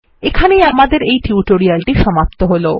এখানেই আমাদের এই টিউটোরিয়ালটি সমাপ্ত হলো